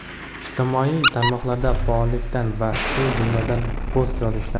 ijtimoiy tarmoqlarda faollikdan va shu jumladan post yozishdan.